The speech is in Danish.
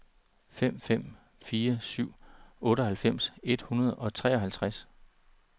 fem fem fire syv otteoghalvfems et hundrede og treoghalvtreds